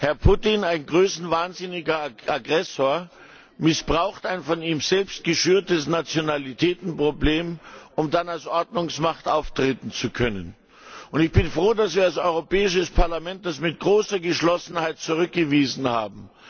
Herr Putin, ein größenwahnsinniger Aggressor, missbraucht ein von ihm selbst geschürtes Nationalitätenproblem, um dann als Ordnungsmacht auftreten zu können. Ich bin froh, dass wir als Europäisches Parlament, das mit großer Geschlossenheit zurückgewiesen haben.